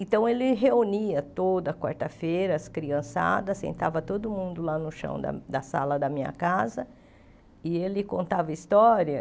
Então, ele reunia toda quarta-feira as criançadas, sentava todo mundo lá no chão da da sala da minha casa e ele contava história.